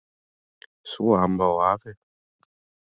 Svo amma og afi.